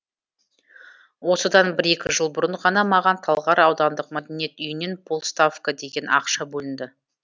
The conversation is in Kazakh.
осыдан бір екі жыл бұрын ғана маған талғар аудандық мәдениет үйінен пол ставка деген ақша бөлінді